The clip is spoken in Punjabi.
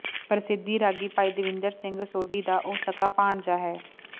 ਪ੍ਰਸਿੱਧ ਰਾਗੀ ਭਾਈ ਦੇਵਿੰਦਰ ਸਿੰਘ ਸੋਢੀ ਦਾ ਉਹ ਸਕਾ ਭਾਣਜਾ ਹੈ